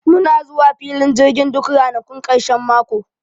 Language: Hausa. Muna zuwa filin jirgin duk ranakun ƙarshen mako